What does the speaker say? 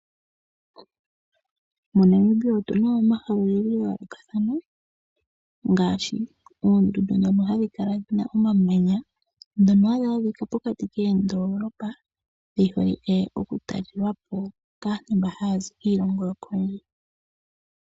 MoNamibia otuna mo omahala ogendji gayoolokathana ngaashi; oondundu dhono hadhi kala dhina omamanya dhono hadhi adhika pokati koodoolopa dhiholike okutalelwapo kaantu mba haya zi kiilongo yokondje.